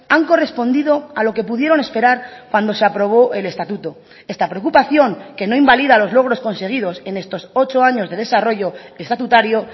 han correspondido a lo que pudieron esperar cuando se aprobó el estatuto esta preocupación que no invalida los logros conseguidos en estos ocho años de desarrollo estatutario